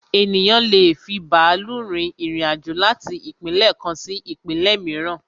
Ènìyàn lé è fi bàálù rin irin-àjò láti ìpínlẹ̀ kan sí ìpínlẹ̀ mìíràn